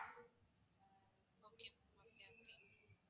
okay ma'am okay okay